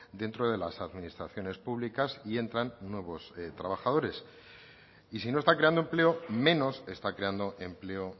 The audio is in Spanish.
dentro de las administraciones públicas y entran nuevos trabajadores y si no está creando empleo menos está creando empleo